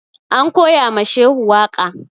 An koya ma Shehu waƙa